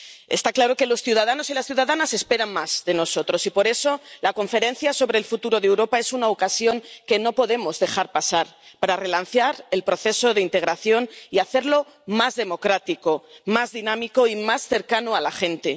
Está claro que los ciudadanos y las ciudadanas esperan más de nosotros, y por eso la Conferencia sobre el Futuro de Europa es una ocasión que no podemos dejar pasar para relanzar el proceso de integración y hacerlo más democrático, más dinámico y más cercano a la gente.